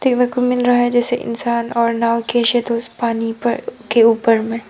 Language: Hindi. को मिल रहा है जैसे इंसान और नाव पानी पर के ऊपर में।